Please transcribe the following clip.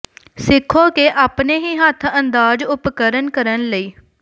ਸਿੱਖੋ ਕਿ ਆਪਣੇ ਹੀ ਹੱਥ ਅੰਦਾਜ਼ ਉਪਕਰਣ ਕਰਨ ਲਈ